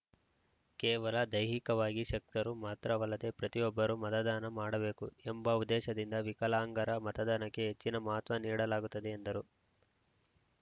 ಕೇವಲ ದೈಹಿಕವಾಗಿ ಶಕ್ತರು ಮಾತ್ರವಲ್ಲದೆ ಪ್ರತಿಯೊಬ್ಬರೂ ಮತದಾನ ಮಾಡಬೇಕು ಎಂಬ ಉದ್ದೇಶದಿಂದ ವಿಕಲಾಂಗರ ಮತದಾನಕ್ಕೆ ಹೆಚ್ಚಿನ ಮಹತ್ವ ನೀಡಲಾಗುತ್ತಿದೆ ಎಂದರು